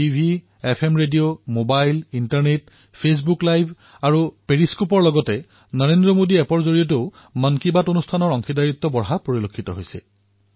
মানুহে TV FM radio mobile internet Facebook live আৰু পেৰিস্কোপৰ সৈতে নৰেন্দ্ৰ মোদী এপৰ জৰিয়তেও মন কী বাতত নিজৰ অংশগ্ৰহণ সুনিশ্চিত কৰিছে